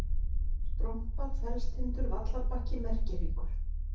Strompar, Fellstindur, Vallarbakki, Merkihryggur